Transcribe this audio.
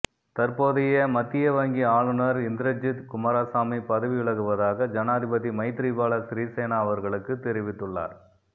தற்போதைய மத்தியவங்கி ஆளுநர் இந்திரஜித் குமாரசாமி பதவி விலகுவதாக ஜனாதிபதி மைத்திரிபால சிறிசேன அவர்களுக்கு தெரிவித்துள்ளார்